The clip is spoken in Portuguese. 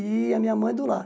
E a minha mãe é do lar.